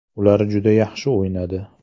Ular juda yaxshi o‘ynadi.